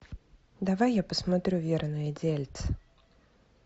давай я посмотрю верное дельце